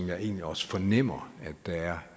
jeg egentlig også fornemmer der er